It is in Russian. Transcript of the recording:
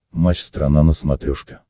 матч страна на смотрешке